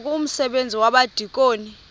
ngoku umsebenzi wabadikoni